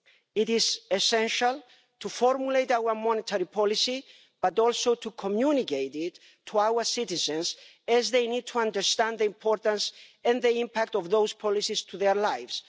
It is essential to formulate our monetary policy but also to communicate it to our citizens, as they need to understand the importance and the impact of those policies on their lives.